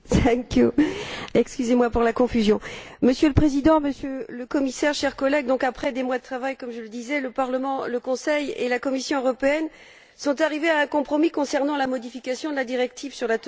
Monsieur le Président, Monsieur le Commissaire, chers collègues, après des mois de travail, comme je le disais, le Parlement, le Conseil et la Commission européenne sont arrivés à un compromis concernant la modification de la directive sur la teneur en soufre des combustibles marins, comme nous le savons.